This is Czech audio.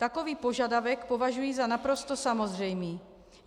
Takový požadavek považuji za naprosto samozřejmý.